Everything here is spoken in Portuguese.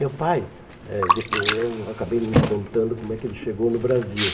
Meu pai, eh de eu não acabei não lhe contando como é que ele chegou no Brasil.